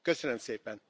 Köszönöm szépen!